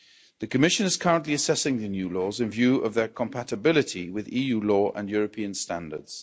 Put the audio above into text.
The Commission is currently assessing the new laws in view of their compatibility with EU law and European standards.